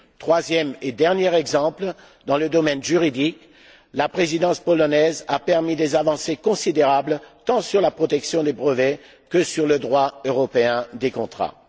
Troisième et dernier exemple dans le domaine juridique, la Présidence polonaise a permis des avancées considérables tant sur la protection des brevets que sur le droit européen des contrats.